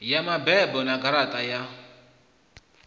ya mabebo na garaṱa ya